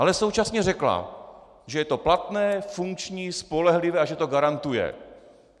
Ale současně řekla, že je to platné, funkční, spolehlivé a že to garantuje.